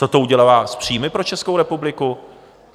Co to udělá s příjmy pro Českou republiku?